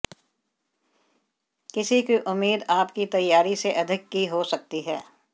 किसी की उम्मीद आपकी तैयारी से अधिक की हो सकती है